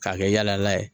K'a kɛ yalala ye